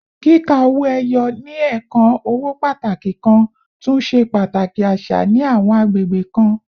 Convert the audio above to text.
Kika owo eyo, ni ẹẹkan owo pataki kan, tun ṣe pataki aṣa ni awọn agbegbe kan